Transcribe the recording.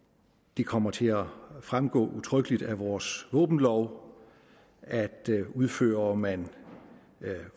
det kommer til at fremgå udtrykkeligt af vores våbenlov at udfører man